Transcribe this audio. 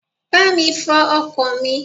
Bá mi fo ọkọ̀ mi.